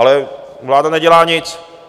Ale vláda nedělá nic.